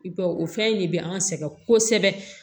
I ba o fɛn in de bɛ an sɛgɛn kosɛbɛ